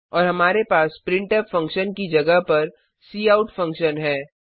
और हमारे पास प्रिंटफ फंक्शन की जगह पर काउट फंक्शन है